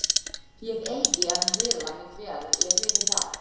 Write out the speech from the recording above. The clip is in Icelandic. Ég eigi að hvíla mig vel, ég viti það.